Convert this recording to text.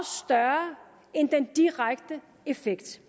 større end den direkte effekt